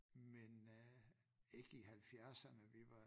Men øh ikke i halvfjerdsene vi var